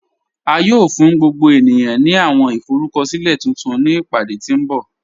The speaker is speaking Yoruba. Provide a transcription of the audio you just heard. À yóò fún gbogbo ènìyàn ní àwọn ìforúkọ̀silẹ̀ tuntun ni ìpádé tí nbọ̀.